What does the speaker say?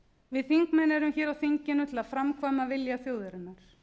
við þingmenn erum hér á þinginu til að framkvæma vilja þjóðarinnar